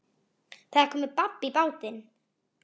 Það er komið babb í bátinn